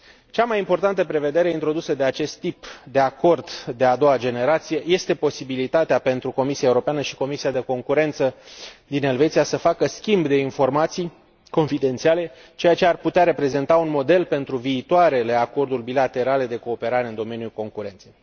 Cea mai importantă prevedere introdusă de acest tip de acord de a doua generație este posibilitatea pentru Comisia Europeană și Comisia de Concurență din Elveția să facă schimb de informații confidențiale, ceea ce ar putea reprezenta un model pentru viitoarele acorduri bilaterale de cooperare în domeniul concurenței.